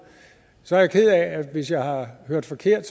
så er jeg ked af hvis jeg har hørt forkert